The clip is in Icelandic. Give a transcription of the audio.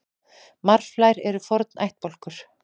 Marflær eru forn ættbálkur.